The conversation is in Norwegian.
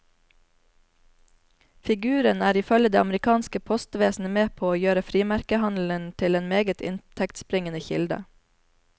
Figuren er ifølge det amerikanske postvesenet med på å gjøre frimerkehandelen til en meget inntektsbringende kilde.